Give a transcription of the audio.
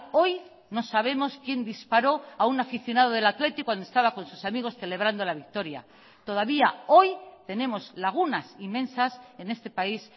hoy no sabemos quién disparó a un aficionado del athletic cuando estaba con sus amigos celebrando la victoria todavía hoy tenemos lagunas inmensas en este país